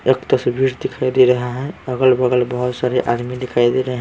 एक तस्वीर दिखाई दे रहा है अगल-बगल बहुत सारे आदमी दिखाई दे रहे --